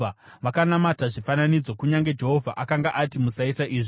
Vakanamata zvifananidzo, kunyange Jehovha akanga ati, “Musaita izvi.”